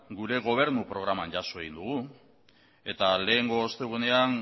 gure gobernu programan jaso egin dugu eta lehengo ostegunean